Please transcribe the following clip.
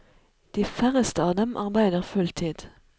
De færreste av dem arbeider full tid.